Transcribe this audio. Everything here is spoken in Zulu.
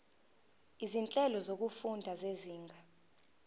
izinhlelo zokufunda zezinga